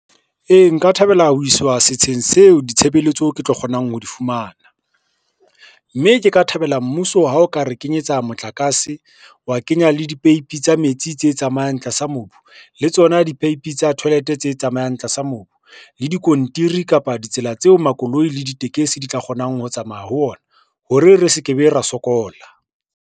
Ee, nka thabela ho iswa setsheng seo ditshebeletso ke tlo kgonang ho di fumana, mme ke ka thabela mmuso ha o ka re kenyetsa motlakase, wa kenya le dipeipi tsa metsi tse tsamayang tlasa mobu, le tsona dipeipi tsa toilet tse tsamayang tlasa mobu, le diskontiri kapa ditsela tseo makoloi le ditekesi di tla kgonang ho tsamaya ho ona hore re se ke be ra sokola.